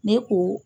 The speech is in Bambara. Ne ko